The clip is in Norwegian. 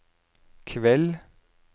kveld